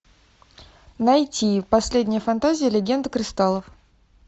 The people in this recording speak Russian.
найти последняя фантазия легенда кристаллов